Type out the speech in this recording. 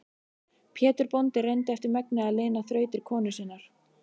Pétur bóndi reyndi eftir megni að lina þrautir konu sinnar.